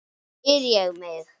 spyr ég mig.